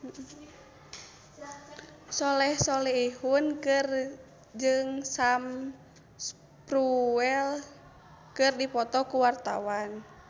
Soleh Solihun jeung Sam Spruell keur dipoto ku wartawan